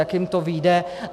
Jak jim to vyjde.